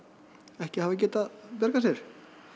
ekki hafa geta bjargað sér